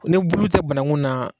Ni bulu tɛ bananku na